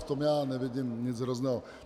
V tom já nevidím nic hrozného.